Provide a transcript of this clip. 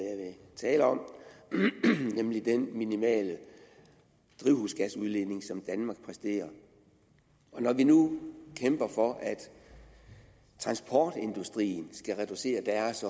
tale om nemlig den minimale drivhusgasudledning som danmark præsterer når vi nu kæmper for at transportindustrien skal reducere deres